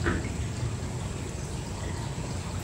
найди фильм с кэтрин зета джонс веном